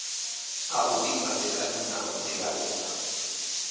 a u dibadekanya na vhadivhalea